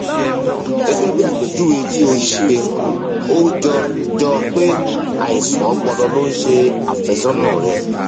gẹgẹ bí àpèjúwe tí o ṣe ó jọ jọ pé àìsàn ọpọlọ ló ń ṣe àfẹsọnà rẹ